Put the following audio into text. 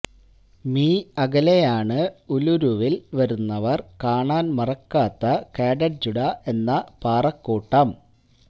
me അകലെയാണ് ഉലുരുവില് വരുന്നവര് കാണാന് മറക്കാത്ത കാടട്ജുട എന്ന പാറക്കൂട്ടം